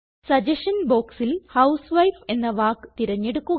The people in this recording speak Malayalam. സഗസ്ഷൻ ബോക്സിൽ ഹൌസ്വൈഫ് എന്ന വാക്ക് തിരഞ്ഞെടുക്കുക